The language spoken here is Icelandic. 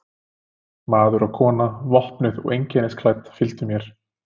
Maður og kona, vopnuð og einkennisklædd, fylgdu mér.